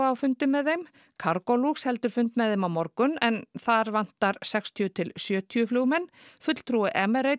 á fundi með þeim cargolux heldur fund með þeim á morgun þar vantar sextíu til sjötíu flugmenn fulltrúi